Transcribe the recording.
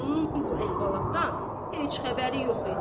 Vəliqulunun bu əhvalatdan heç xəbəri yox idi.